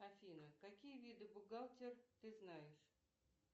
афина какие виды бухгалтер ты знаешь